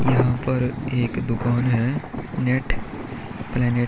यहाँ पर एक दुकान है नेट प्लेनेट --